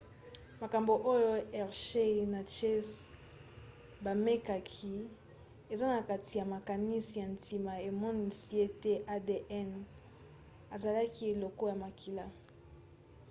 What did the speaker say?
makambo oyo hershey na chase bamekaki eza na kati ya makanisi ya ntina emonisi ete adn ezalaki eloko ya makila